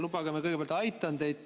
Lubage, ma kõigepealt aitan teid.